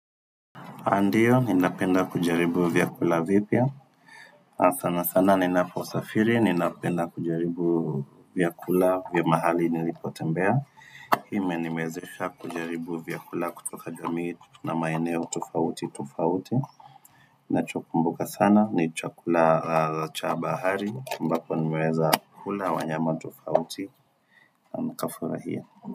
Andiyo, ninapenda kujaribu vyakula vipya. Sana sana ninaposafiri, ninapenda kujaribu vyakula vya mahali nilipo tembea. Hi menimezesha kujaribu vyakula kutoka jamii na maeneo tofauti tofauti. Na chokumbuka sana, ni chakula cha bahari, ambapo nimeweza kula wanyama tofauti, na nikafurahia.